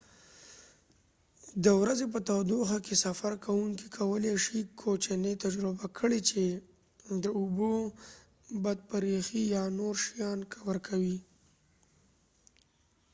د ورځې په تودوخه کې، سفر کوونکې کولی شي کوچني تجربه کړي چې د اوبو بد بریښي یا نور شیان ورکوي۔